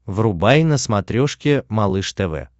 врубай на смотрешке малыш тв